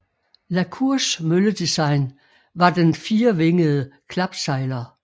La Cours mølledesign var den firevingede klapsejler